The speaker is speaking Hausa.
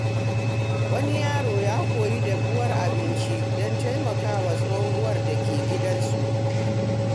Wani yaro ya koyi dafuwar abinci don taimakawa tsohuwar da ke gidansu.